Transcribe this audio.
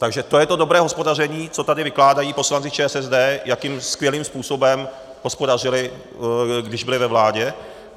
Takže to je to dobré hospodaření, co tady vykládají poslanci ČSSD, jakým skvělým způsobem hospodařili, když byli ve vládě?